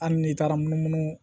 Hali n'i taara munumunu